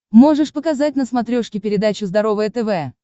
можешь показать на смотрешке передачу здоровое тв